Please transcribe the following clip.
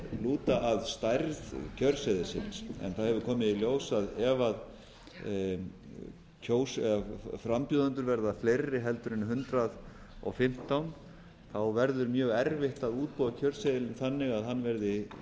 lúta að stærð kjörseðilsins en það hefur komið í ljós að ef frambjóðendur verða fleiri en hundrað og fimmtán þá verður mjög erfitt að útbúa kjörseðilinn þannig að hann verði